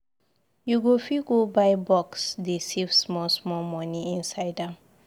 You go fit go buy box dey save small small money inside am.